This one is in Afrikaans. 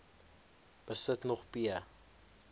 besit nog p